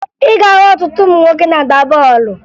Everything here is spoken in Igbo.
Ị ga-ahụ ọtụtụ ụmụ nwoke na-agba bọọlụ